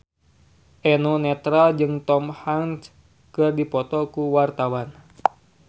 Eno Netral jeung Tom Hanks keur dipoto ku wartawan